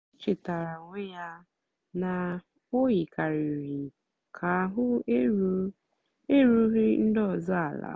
o chétàara onwé ya na o yìkàrị̀rị́ kà àhụ́ èrùghị́ ndí ọ́zọ́ àla.